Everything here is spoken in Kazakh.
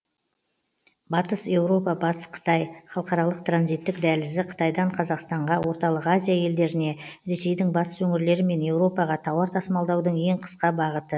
батыс еуропа батыс қытай халықаралық транзиттік дәлізі қытайдан қазақстанға орталық азия елдеріне ресейдің батыс өңірлері мен еуропаға тауар тасымалдаудың ең қысқа бағыты